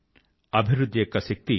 అభివృద్ధి యొక్క శక్తి